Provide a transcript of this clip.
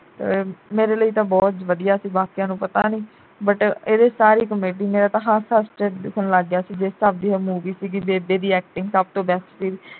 ਅਹ ਮੇਰੇ ਲਈ ਤਾਂ ਬਹੁਤ ਵਧੀਆ ਸੀ ਬਾਕੀਆਂ ਨੂੰ ਪਤਾ ਨਹੀਂ but ਇਹਦੇ ਵਿੱਚ ਸਾਰੀ comedy ਮੇਰਾ ਹੱਸ ਹੱਸ ਕੇ ਢਿੱਡ ਦੁਖਣ ਲੱਗ ਪਿਆ ਜਿਸ ਹਿਸਾਬ ਦੀ movie ਸੀਗੀ ਬੇਬੇ ਦੀ acting ਸਭ ਤੋਂ best ਸੀਗੀ